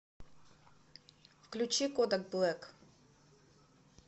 включи кодак блэк